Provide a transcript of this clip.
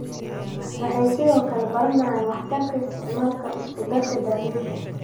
Waxay sidoo kale baranayaan waxtarka isticmaalka isku-darka daaweynta.